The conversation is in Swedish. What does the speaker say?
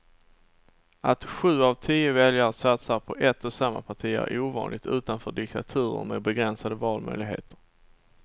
Att sju av tio väljare satsar på ett och samma parti är ovanligt utanför diktaturer med begränsade valmöjligheter.